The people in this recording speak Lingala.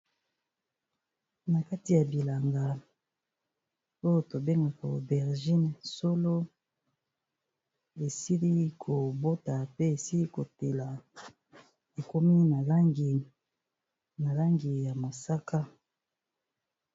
Na kati ya bilanga oyo to bengaka aubergine, solo esili kobota pe esili kotela ekomi na langi ya mosaka.